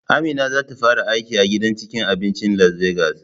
Amina zata fara aiki a gidan cikin abincin Las Begas